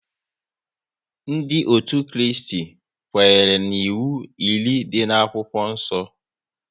Ndị otu Kristi kwenyere n'iwu iri dị n'akwụkwọ nsọ